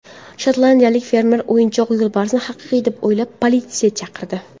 Shotlandiyalik fermer o‘yinchoq yo‘lbarsni haqiqiy deb o‘ylab, politsiya chaqirdi.